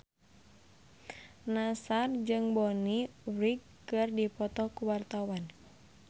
Nassar jeung Bonnie Wright keur dipoto ku wartawan